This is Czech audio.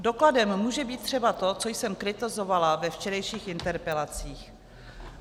Dokladem může být třeba to, co jsem kritizovala ve včerejších interpelacích.